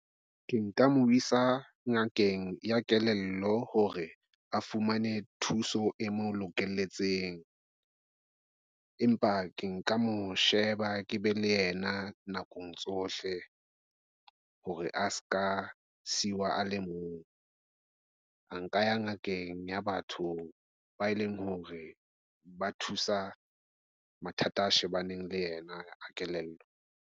Ke nka mo isa ngakeng ya kelello hore a fumane thuso e mo lokelletseng. Empa ke nka mo sheba ke be le yena nakong tsohle hore a ska siwa, a le mong, a nka ya ngakeng ya batho ba eleng hore ba thusa mathata a shebaneng le yena a kelello.